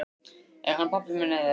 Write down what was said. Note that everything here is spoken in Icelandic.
Er hann pabbi minn eða ekki?